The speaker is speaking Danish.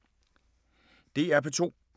DR P2